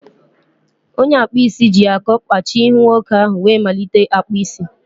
Onye akpụ isi ji akọ kpachie ihu nwoke ahụ wee malite akpụ isi.